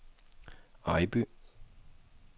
Ejby